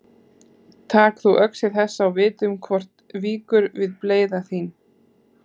Tak þú öxi þessa og vitum hvort víkur við bleyða þín.